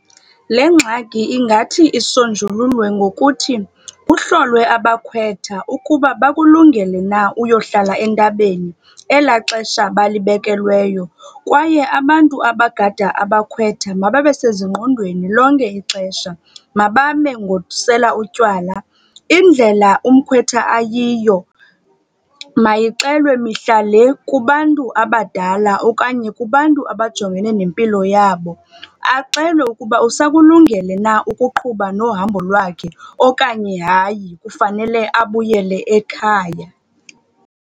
Le ngxaki ingathi isonjululwe ngokuthi kuhlolwe abakhwetha ukuba bakulungele na uyohlala entabeni elaa xesha balibekelweyo. Kwaye abantu abagada abakhwetha mababe sezingqondweni lonke ixesha, mabame ngosela utywala. Indlela umkhwetha ayiyo mayixelwe mihla le kubantu abadala okanye kubantu abajongene nempilo yabo. Axelwe ukuba usakulungele na ukuqhuba nohambo lwakhe okanye hayi kufanele abuyele ekhaya.